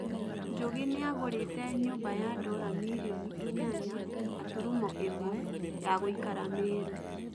Njũgĩ nĩagũrĩte nyũmba ya ndora mirioni inyanya gaturumo ĩmwe, ya gũikara Meru